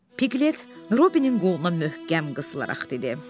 Piqlet Robinin qoluna möhkəm qısılaraq dedi.